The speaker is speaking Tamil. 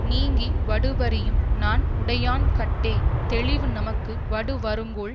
நீங்கி வடுப்பரியும் நாண் உடையான்கட்டே தெளிவு தமக்கு வடு வருங்கொல்